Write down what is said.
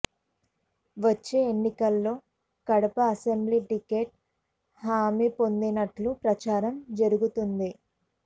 వచ్చే ఎన్నికల్లో Kadapa assembly ticket హామీ పొందినట్లు ప్రచారం జరుగుతోంది